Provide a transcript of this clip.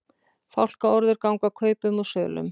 Fálkaorður ganga kaupum og sölum